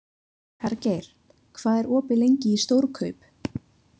Hergeir, hvað er opið lengi í Stórkaup?